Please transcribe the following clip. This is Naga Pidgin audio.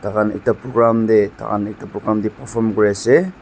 takhan ekta program tae takhan ekta program tae perform kuriase.